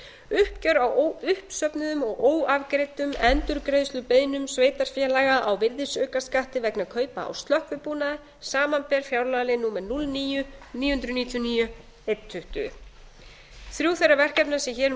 uppgjör á uppsöfnuðum og óafgreiddum endurgreiðslubeiðnum sveitarfélaga á virðisaukaskatti vegna kaupa á slökkvibúnaði samanber fjárlagalið númer núll níu til níu hundruð níutíu og níu til ein tuttugu þrjú þeirra verkefna sem hér um